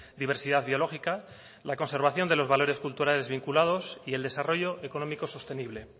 diversidad biológica la conservación de los valores culturales vinculados y el desarrollo económico sostenible